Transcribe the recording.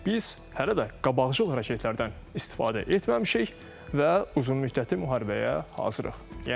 Biz hələ də qabaqcıl raketlərdən istifadə etməmişik və uzunmüddətli müharibəyə hazırıq.